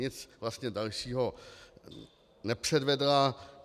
Nic vlastně dalšího nepředvedla.